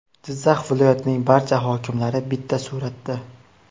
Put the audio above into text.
Jizzax viloyatining barcha hokimlari bitta suratda.